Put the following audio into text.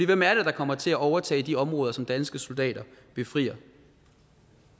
hvem er det der kommer til at overtage de områder som danske soldater befrier